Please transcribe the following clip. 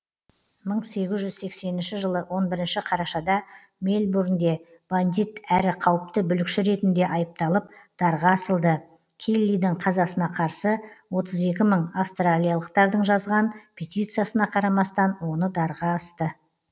мың сегіз жүз сексенінші жылы он бірінші қарашада мельбурнде бандит әрі қауіпті бүлікші ретінде айыпталып дарға асылды келлидің қазасына қарсы отыз екі мың австралиялықтардың жазған петициясына қарамастан оны дарға асты